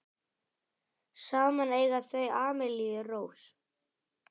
Saman eiga þau Amelíu Rós.